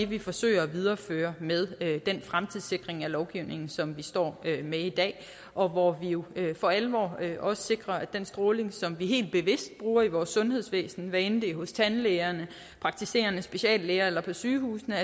vi forsøger at videreføre med den fremtidssikring af lovgivningen som vi står med i dag og hvor vi jo for alvor også sikrer at den stråling som vi helt bevidst bruger i vores sundhedsvæsen hvad enten det er hos tandlægerne praktiserende speciallæger eller på sygehusene